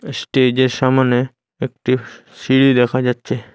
স্টেজের সামোনে একটি সি-সিঁড়ি দেখা যাচ্ছে।